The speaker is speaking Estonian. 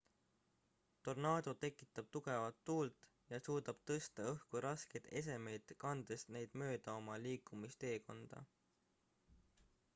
tornaado tekitab tugevat tuult sageli 100-200 miili/tunnis ja suudab tõsta õhku raskeid esemeid kandes neid mööda oma liikumisteekonda